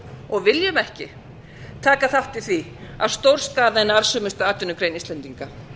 og viljum ekki taka þátt í því að stórskaða eina arðsömustu atvinnugrein íslendinga